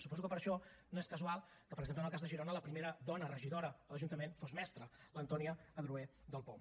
suposo que per això no és casual que per exemple en el cas de girona la primera dona regidora de l’ajuntament fos mestra l’antònia adroher del poum